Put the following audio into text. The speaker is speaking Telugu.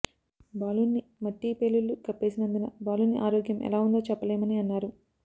బాలుడ్ని మట్టి పెళ్లలు కప్పేసినందున బాలుని ఆరోగ్యం ఎలా ఉందో చెప్పలేమని అన్నారు